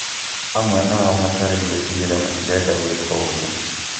amwe ao hatarĩ gwĩtigĩra matirenda gwĩka ũgũo